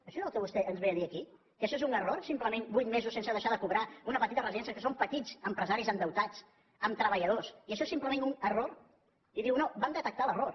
això és el que vostè ens ve a dir aquí que això és un error simplement vuit mesos sense deixar de cobrar una petita residència que són petits empresaris endeutats amb treballadors i això és simplement un error i diu no vam detectar l’error